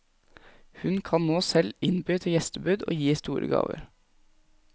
Hun kan nå selv innby til gjestebud og gi store gaver.